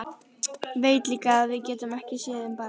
Veit líka að við getum ekki séð um barn.